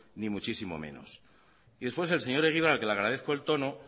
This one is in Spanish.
ni mucho menos y después el señor egibar al que le agradezco el tono